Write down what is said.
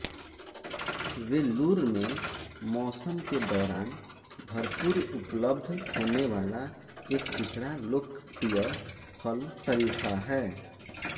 वेल्लूर में मौसम के दौरान भरपूर उपलब्ध होने वाला एक दूसरा लोकप्रिय फल शरीफा है